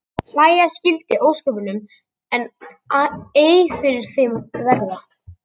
Hlæja skyldi að ósköpunum en ei fyrir þeim verða.